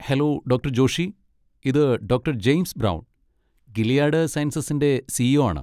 Hello doctor Joshi. ഇത് doctor James Brown, Gilead സയൻസസിൻ്റെ C. E. O ആണ്.